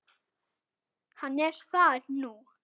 Hann er þar nú.